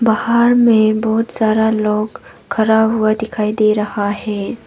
बाहर में बहुत सारा लोग खड़ा हुआ दिखाई दे रहा है।